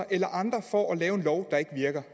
eller andre for at lave en lov der ikke virker